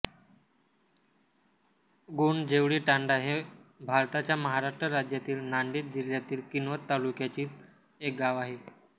गोंडजेवळीतांडा हे भारताच्या महाराष्ट्र राज्यातील नांदेड जिल्ह्यातील किनवट तालुक्यातील एक गाव आहे